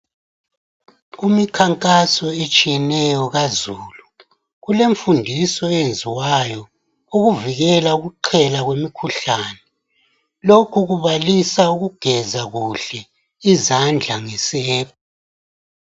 Kumikhankaso etshiyeneyo kazulu, kulemfundiso eyenziwayo ukuvikela ukuqhela kwemikhuhlane. Lokhu kubalisa ukugeza kuhle izandla ngesepa.